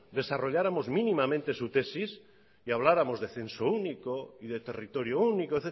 desarrolláramos mínimamente su tesis y habláramos de censo único y de territorio único